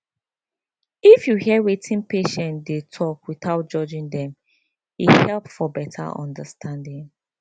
if you hear wetin patients dey talk without judging dem e help for better understanding